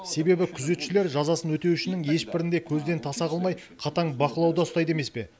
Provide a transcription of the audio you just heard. себебі күзетшілер жазасын өтеушінің ешбірін де көзден таса қылмай қатаң бақылауда ұстайды емес пе